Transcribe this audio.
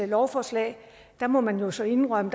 lovforslag må man jo så indrømme